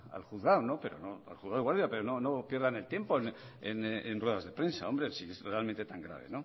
al juzgado pero no pierdan el tiempo en ruedas de prensa si es realmente tan grave